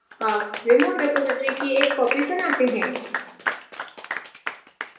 अब remote repository की एक copy बनाते हैं